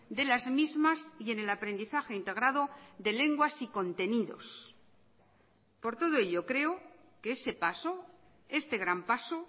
de las mismas y en el aprendizaje integrado de lenguas y contenidos por todo ello creo que ese paso este gran paso